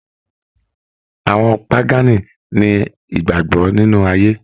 Àwọn Pagani ni ìgbàgbọ nínú ayé.